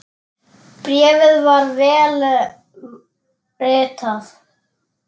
Bréfið var vel ritað.